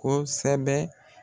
Kosɛbɛ.